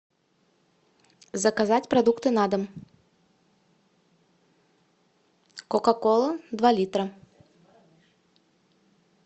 заказать продукты на дом кока кола два литра